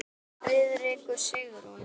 Friðrik og Sigrún.